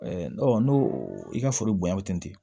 n'o i ka foro bonya bɛ ten